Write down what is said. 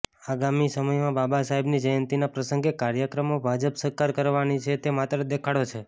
આગામી સમયમાં બાબા સાહેબની જયંતીના પ્રસંગે કાર્યક્રમો ભાજપ સરકાર કરવાની છે તે માત્ર દેખાડો છે